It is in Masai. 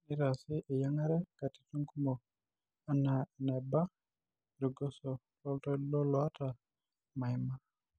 neitaasi eyiangare katitin kumok anaa enaba irgoso loltoilo lotaa maiama.